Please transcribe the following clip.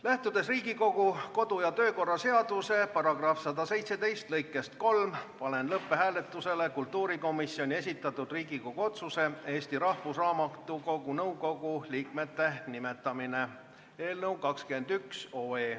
Lähtudes Riigikogu kodu- ja töökorra seaduse § 117 lõikest 3, panen lõpphääletusele kultuurikomisjoni esitatud Riigikogu otsuse "Eesti Rahvusraamatukogu nõukogu liikmete nimetamine" eelnõu.